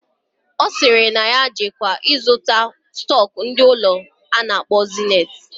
Osiri na ya jeke ịzụta stock ndi ụlọ akụ ana akpo Zenith.